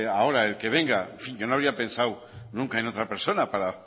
ahora el que venga yo no habría pensado nunca en otra persona para